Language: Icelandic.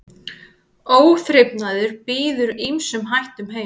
Óþrifnaður býður ýmsum hættum heim.